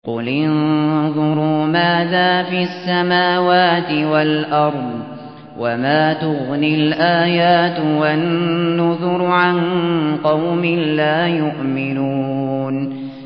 قُلِ انظُرُوا مَاذَا فِي السَّمَاوَاتِ وَالْأَرْضِ ۚ وَمَا تُغْنِي الْآيَاتُ وَالنُّذُرُ عَن قَوْمٍ لَّا يُؤْمِنُونَ